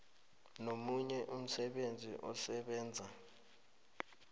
nomunye umsebenzi osebenza